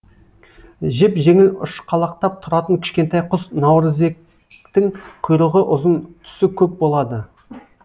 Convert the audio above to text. жеп жеңіл ұшқалақтап тұратын кішкентай құс наурызектің құйрығы ұзын түсі көк болады